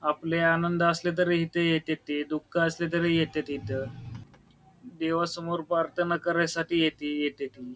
आपल्या आनंद असले तरी इथे येत्यात ते दुख असले तरी येत्यात इथ देवासमोर प्रार्थना करायसाठी येती येत्याती.